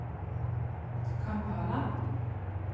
Kampala